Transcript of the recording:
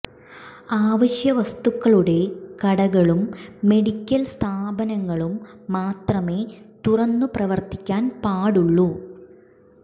അവശ്യ വസ്തുക്കളുടെ കടകളും മെഡിക്കൽ സ്ഥാപനങ്ങളും മാത്രമേ തുറന്ന് പ്രവർത്തിക്കാൻ പാടുള്ളൂ